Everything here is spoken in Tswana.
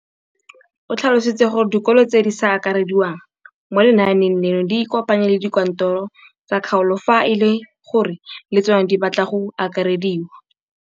O tlhalositse gore dikolo tse di sa akarediwang mo lenaaneng leno di ikopanye le dikantoro tsa kgaolo fa e le gore le tsona di batla go akarediwa.